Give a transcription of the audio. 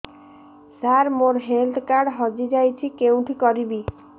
ସାର ମୋର health card ହଜି ଯାଇଛି କେଉଁଠି କରିବି